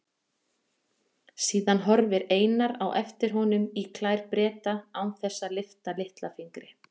Síðan horfir Einar á eftir honum í klær Breta án þess að lyfta litla fingri.